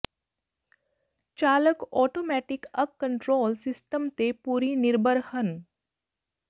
ਚਾਲਕ ਆਟੋਮੈਟਿਕ ਅੱਗ control system ਤੇ ਪੂਰੀ ਨਿਰਭਰ ਹਨ